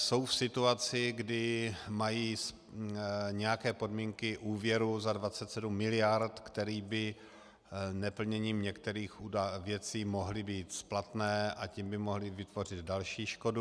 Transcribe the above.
Jsou v situaci, kdy mají nějaké podmínky úvěru za 27 miliard, které by neplněním některých věcí mohly být splatné, a tím by mohly vytvořit další škodu.